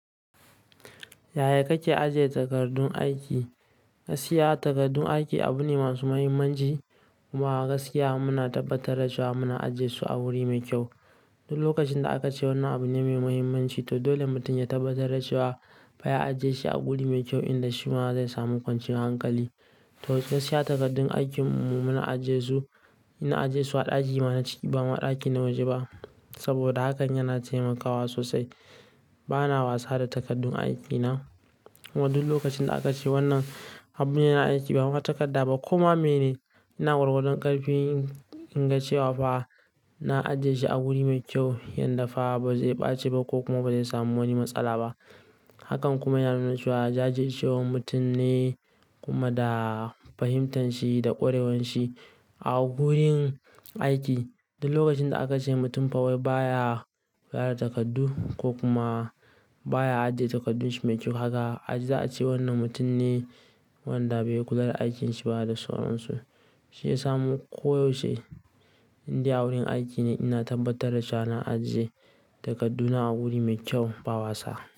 Yaya kake ajiye takardun aiki? Gaskiya takardun aiki abu ne masu muhimmanci. Kuma gaskiya muna tabbatar da cewa muna ajiye su a wuri mai kyau. Duk lokacin da aka ce wannan abu ne mai muhimmanci, to dole mutum ya tabbatar da cewa fa ya ajiye shi a wuri mai kyau inda shima zai samu kwanciyar hankali. To, gaskiya takardun aikin mu muna ajiye su, ina ajiye su a ɗaki na ciki ba ma ɗaki na waje ba. Saboda hakan yana taimakawa sosai. Bana wasa da takardun aiki na. Kuma duk lokacin da aka ce wannan abu ne na aiki bama takarda ba koma meyene, ina gwargwadon ƙarfi in, in ga cewa fa na ajiye shi a wuri mai kyau yadda fa ba zai ɓace ba ko kuma ba zai samu wani matsala ba. Hakan kuma yana nuna cewa jajircewar mutum ne kuma da fahimtanshi da ƙwarewanshi a gurin aiki. Duk lokacin da aka ce mutum fa wai baya kula da takardu ko kuma baya ajiye takardu shi mai kyau kaga, a ji za a ce wannan mutum ne wanda bai kula da aikinshi ba da sauransu. Shi yasa mu koyaushe indai a wurin aiki ne ina tabbatar da cewa na ajiye takarduna a wuri mai kyau ba wasa.